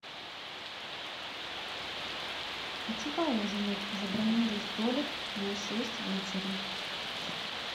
хочу поужинать забронируй столик на шесть вечера